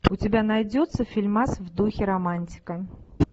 у тебя найдется фильмас в духе романтика